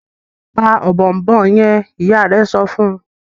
pa Ọ̀bọ̀ọ̀nbọọ̀n yen! ìyá rẹ sọfún.